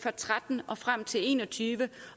og tretten og frem til en og tyve